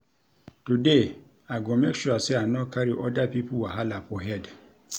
Today, I go make sure sey I no carry oda pipo wahala for head.